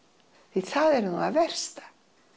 því það er nú það versta